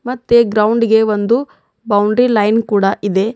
ಮತ್ತೆ ಗ್ರೌಂಡ್ ಗೆ ಒಂದು ಬೌಂಡ್ರಿ ಲೈನ್ ಕೂಡ ಇದೆ.